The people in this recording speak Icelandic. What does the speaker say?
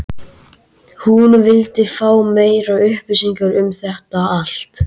hún vildi fá meiri upplýsingar um þetta allt.